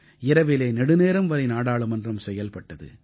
இரவிலே நெடுநேரம் வரை நாடாளுமன்றம் செயல்பட்டது